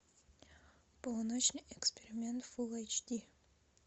полуночный эксперимент фулл эйч ди